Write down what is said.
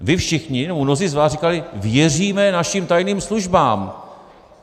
Vy všichni, nebo mnozí z vás říkali, věříme našim tajným službám.